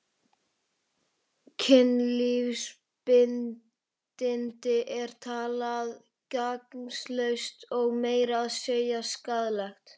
Kynlífsbindindi er talið gagnslaust og meira að segja skaðlegt.